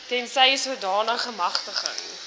tensy sodanige magtiging